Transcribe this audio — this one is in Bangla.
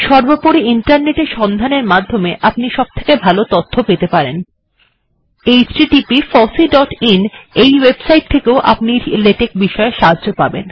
সর্বপরি ইন্টারনেট এ সন্ধান করলে আপনি এই বিষয়ে সবথেকে উত্কৃষ্ট জ্ঞান অর্জন করতে পারবেন